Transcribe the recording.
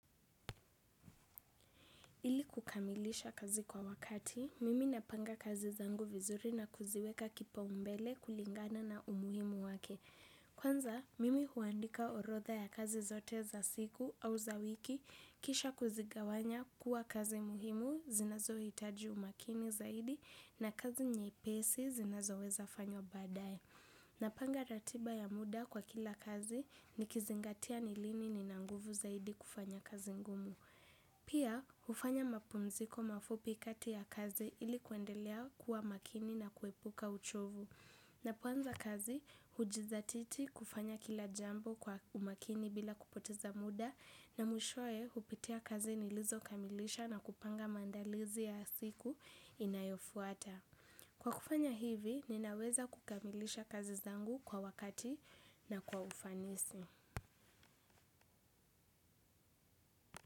Ili kukamilisha kazi kwa wakati, mimi napanga kazi zangu vizuri na kuziweka kipa umbele kulingana na umuhimu wake. Kwanza, mimi huandika orodha ya kazi zote za siku au za wiki, kisha kuzigawanya kuwa kazi muhimu zinazo hitaji umakini zaidi na kazi nyepesi zinazo weza fanya baadae. Napanga ratiba ya muda kwa kila kazi nikizingatia ni lini nina nguvu zaidi kufanya kazi ngumu. Pia, hufanya mapumziko mafupi kati ya kazi ili kuendelea kuwa makini na kuepuka uchovu. Napoanza kazi, hujidhatiti kufanya kila jambo kwa umakini bila kupoteza muda na mwishoe hupitia kazi nilizo kamilisha na kupanga maandalizi ya siku inayofuata. Kwa kufanya hivi, ninaweza kukamilisha kazi zangu kwa wakati na kwa ufanisi.